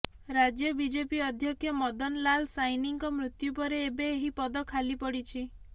ରାଜ୍ୟ ବିଜେପି ଅଧ୍ୟକ୍ଷ ମଦନ ଲାଲ ସାଇନିଙ୍କ ମୃତ୍ୟୁପରେ ଏବେ ଏହି ପଦ ଖାଲି ପଡିଛି